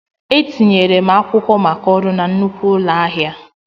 Etinyere m akwụkwọ maka ọrụ na nnukwu ụlọ ahịa.